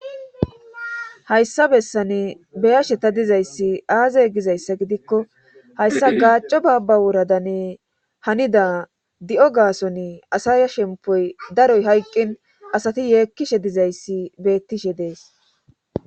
Hayssa bessane beyasheta dizayssi aazay gizayssa gidikko hayssa gaacco baabba woradanne hanida di7o gaason asaya shempoy daroy hayqqin asati yeekkishe dizayssi beettishe dees